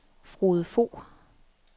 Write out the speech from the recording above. Frode Fogh